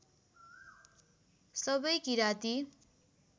सबै किराँती